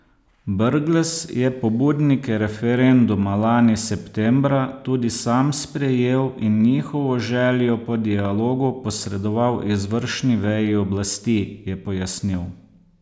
Brglez je pobudnike referenduma lani septembra tudi sam sprejel in njihovo željo po dialogu posredoval izvršni veji oblasti, je pojasnil.